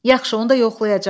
Yaxşı, onda yoxlayacam.